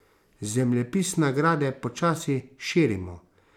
Zemljepis nagrade počasi širimo.